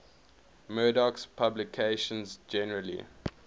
murdoch's publications generally